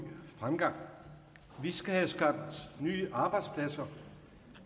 fremgang vi skal have skabt nye arbejdspladser